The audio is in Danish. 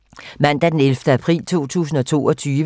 Mandag d. 11. april 2022